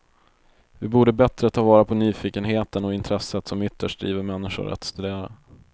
Vi borde bättre ta vara på nyfikenheten och intresset som ytterst driver människor att studera.